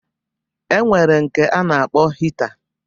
E nwere nke a na-akpọ hita